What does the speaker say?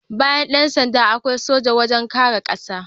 Bayan Yan sanda, akwai soja wajen kare ƙasa